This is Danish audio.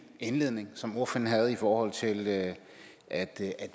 indledning som ordføreren havde i forhold til at at